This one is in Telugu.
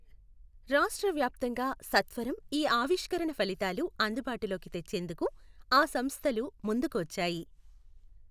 రాష్ట్రవ్యాప్తంగా సత్వరం ఈ ఆవిష్కరణ ఫలితాలు అందుబాటులోకి తెచ్చేందుకు ఆ సంస్థలు ముందుకువచ్చాయి.